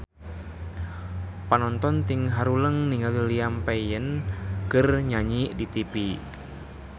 Panonton ting haruleng ningali Liam Payne keur nyanyi di tipi